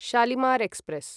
Shalimar express